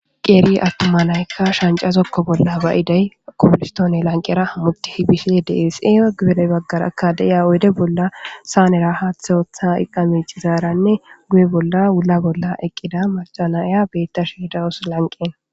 qeeri attuma naykka shancazokko bolla bayidey kuforstoone lanqera hammutti hibishe dees ea gudere baggara akadeya oyde bolla saanera haaththe ooththa iqamecizaaranne guye bolla wula bolla eqqida macanaya beetta shiedaus lanqen